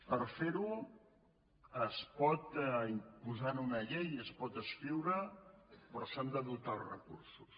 per fer ho es pot imposar en una llei es pot escriure però s’han de dotar els recursos